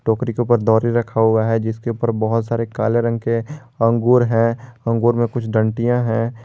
टोकरी के ऊपर दौरी रखा हुआ है जिसके ऊपर बहुत सारे काले रंग के अंगूर है अंगूर में कुछ दंतियां हैं।